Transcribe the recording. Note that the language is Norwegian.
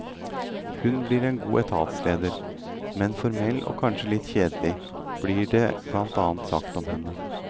Hun blir en god etatsleder, men formell og kanskje litt kjedelig, blir det blant annet sagt om henne.